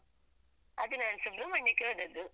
ಅದ್ ನಾನ್ ಸುಬ್ರಹ್ಮಣ್ಯಕ್ಕೆ ಹೋದದ್ದು.